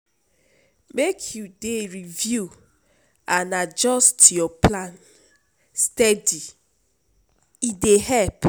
Make you dey review and adjust your plan steady, e dey help.